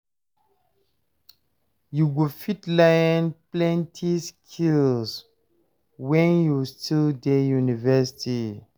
You go fit learn plenty skills wen you still dey university.